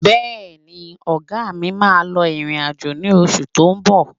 Bẹ́ẹ̀ni, ọ̀gá mi máa lọ ìrìn-àjò ní oṣù tó ń bọ̀